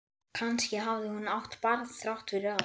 Kannski hafði hún átt barn þrátt fyrir allt.